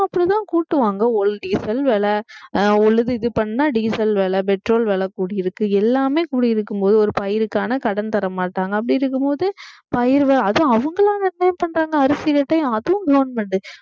அப்படித்தான் கூட்டுவாங்க ஒரு diesel விலை அஹ் உழுது இது பண்ணா diesel விலை petrol விலை கூடியிருக்கு எல்லாமே கூடியிருக்கும் போது ஒரு பயிருக்கான கடன் தர மாட்டாங்க அப்படி இருக்கும்போது பயிர் அதுவும் அவங்களா நிர்ணயம் பண்றாங்க அரிசி rate அதுவும் government